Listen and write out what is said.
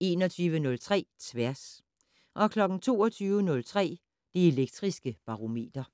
21:03: Tværs 22:03: Det Elektriske Barometer